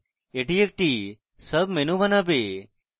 এটি একটি sub menu বানাবে